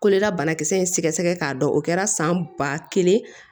Kolola banakisɛ in sɛgɛsɛgɛ k'a dɔn o kɛra san ba kelen